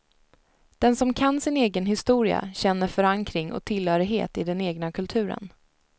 Den som kan sin egen historia känner förankring och tillhörighet i den egna kulturen.